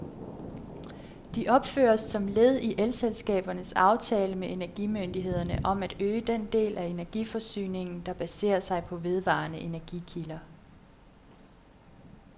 De opføres som led i elselskabernes aftale med energimyndighederne om at øge den del af energiforsyningen, der baserer sig på vedvarende energikilder.